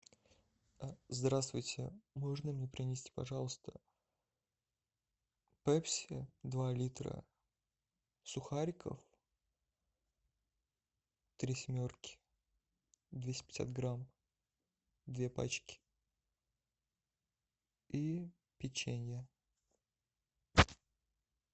здравствуйте можно мне принести пожалуйста пепси два литра сухариков три семерки двести пятьдесят грамм две пачки и печенье